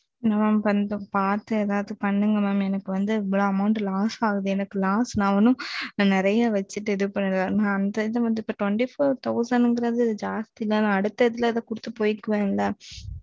பாத்து ஏதாது பண்ணுங்க மாம் நெறைய Loss ஆகுது நா ஒன்னும் நெறைய வெச்சிட்டு பண்ணல இருவத்தி நாலாயிர ரூபாய் ஜாஸ்தி தானே அடுத்த குடுத்து போய்டுவேன் ல